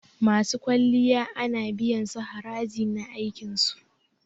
Masu kwalliya ana biyan su haraji na aikin su.